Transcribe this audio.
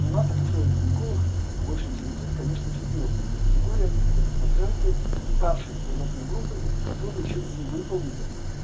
у нас акушер-гинеколог больше интересует конечно четвёртой категория это пациентки старшей возрастной группы которые ещё не выполнили